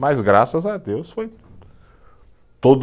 Mas graças a Deus foi tudo.